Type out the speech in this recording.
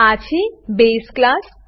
આ છે બસે ક્લાસ બેઝ ક્લાસ